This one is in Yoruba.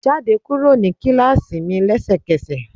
Jáde kúrò ní kíláàsì mi lẹ́sẹkẹ́sẹ̀.!